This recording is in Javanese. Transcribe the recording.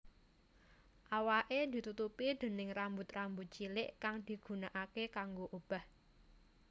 Awaké ditutupi déning rambut rambut cilik kang digunaake kanggo obah